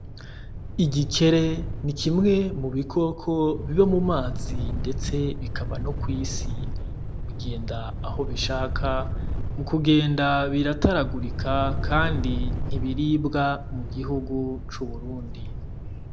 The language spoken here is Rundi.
Igikere ni kimwe mu bikoko vyo mu mazi ndetse bikaba no kw'isi. Bigenda aho bishaka, mu kugenda birataragurika kandi ntibiribwa mu gihugu cUburundi.